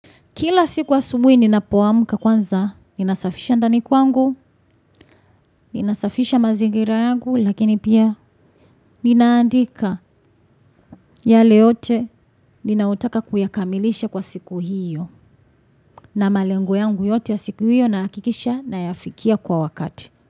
Kila siku asubuhi ninapoamka kwanza, ninasafisha ndani kwangu, ninasafisha mazingira yangu, lakini pia ninaandika yale yote ninaotaka kuyakamilisha kwa siku hiyo na malengo yangu yote ya siku hiyo nahakikisha nayafikia kwa wakati.